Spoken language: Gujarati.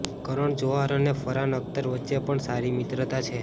કરણ જોહર અને ફરહાન અખ્તર વચ્ચે પણ સારી મિત્રતા છે